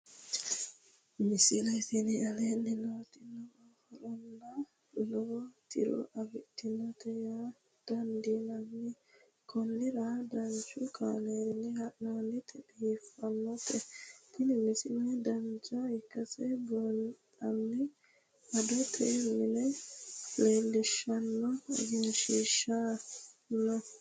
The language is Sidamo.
misile tini aleenni nooti lowo horonna lowo tiro afidhinote yaa dandiinanni konnira danchu kaameerinni haa'noonnite biiffannote tini misile dancha ikkase buunxanni adote mine leellishshanno egenshshiishi no